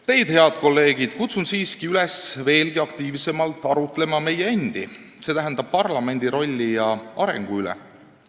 Teid, head kolleegid, kutsun siiski üles veelgi aktiivsemalt arutlema meie endi, st parlamendi rolli ja arengu üle.